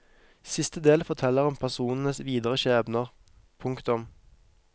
Siste del forteller om personenes videre skjebner. punktum